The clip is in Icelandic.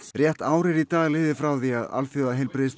rétt ár er í dag liðið frá því að Alþjóða